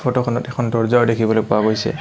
Photo খনত এখন দৰ্জাও দেখিবলৈ পোৱা গৈছে।